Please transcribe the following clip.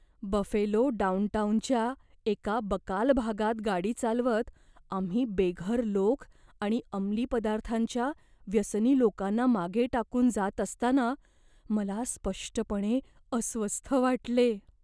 Buffalo डाउनटाउनच्या एका बकाल भागात गाडी चालवत आम्ही बेघर लोक आणि अमली पदार्थांच्या व्यसनी लोकांना मागे टाकून जात असताना मला स्पष्टपणे अस्वस्थ वाटले.